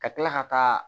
Ka kila ka taa